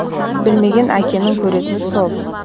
білмеген әкенің көретіні сол